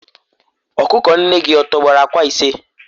ọkụkọ nne gị tọgbọrọ akwa ise?